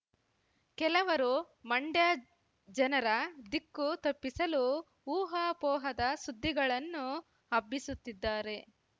ಕೆಲವರು ಮಂಡ್ಯ ಜನರ ದಿಕ್ಕು ತಪ್ಪಿಸಲು ಊಹಾಪೋಹದ ಸುದ್ದಿಗಳನ್ನು ಹಬ್ಬಿಸುತ್ತಿದ್ದಾರೆ